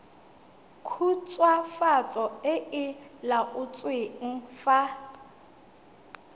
khutswafatso e e laotsweng fa